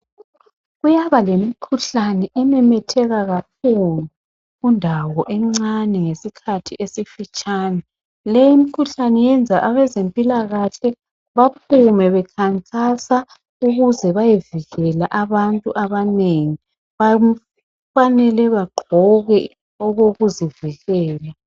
Kuyaba lemikhuhlane ememetheka kakhulu kundawo encane ngesikhathi esifitshitshane .Leyi mkhuhlane yenza abezempilakahle baphume bekhankasa ukuze beyevikela abantu abanengi kufanele bagqoke okokuzivikela.